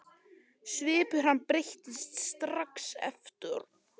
Svipur hans breyttist strax aftur.